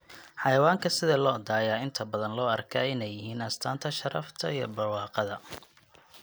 Xayawaanka sida lo'da ayaa inta badan loo arkaa inay yihiin astaanta sharafta iyo barwaaqada.